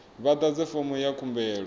vha ḓadze fomo ya khumbelo